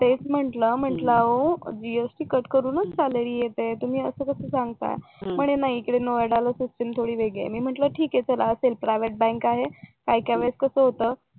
हां मग मी त्यांना तेच म्हंटल, म्हंटल अहो जीएसटी कट करूनच सॅलरी येते तुम्ही असं कसं सांगता म्हणे नाही इकडे नोयडाला सिस्टीम थोडी वेगळी आहे मी म्हंटल असेल ठीक आहे प्रायव्हेट बँक आहे काय काय वेळेस कसं होतं